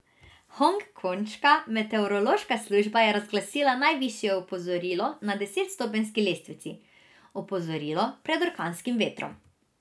Hongkonška meteorološka služba je razglasila najvišje opozorilo na desetstopenjski lestvici, opozorilo pred orkanskim vetrom.